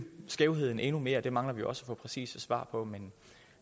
skævheden endnu mere mangler vi også at få præcise svar på men